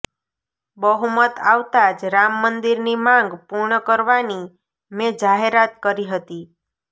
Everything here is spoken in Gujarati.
બહુમત આવતાં જ રામ મંદિરની માંગ પૂર્ણ કરવાની મેં જાહેરાત કરી હતી